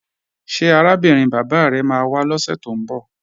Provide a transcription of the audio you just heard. Ṣé arábìnrin bàbá rẹ máa wá lọ́sè tó ń bọ̀?